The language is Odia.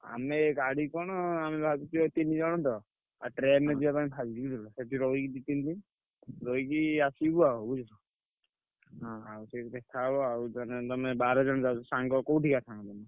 ଆମେ ଗାଡି କଣ ଆମେ ଭାବିଛୁ ଏଇ ତିନି ଜଣ ତ ଆଉ train ରେ ଯିବା ପାଇଁ ଭାବିଛୁ ବୁଝିଲ। ସେଠି ରହିକି ଦି ତିନି ଦିନ୍ ରହିକି ଆସିବୁ ଆଉ ବୁଝିଲ। ହଁ ଆଉ ସେଇଠି ଦେଖା ହବ ଆଉ ତାହେଲେ ତମେ ବାର ଜଣ ଯାଉଛ। ସାଙ୍ଗ କୋଉଠିକା ସାଙ୍ଗ ତମେ?